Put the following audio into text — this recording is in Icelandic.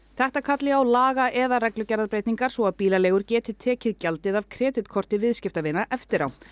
þetta kalli á laga eða reglugerðarbreytingar svo að bílaleigur geti tekið gjaldið af kreditkorti viðskiptavina eftir á